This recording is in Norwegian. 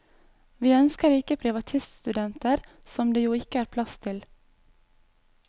Vi ønsker ikke privatiststudenter som det jo ikke er plass til.